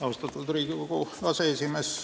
Austatud Riigikogu aseesimees!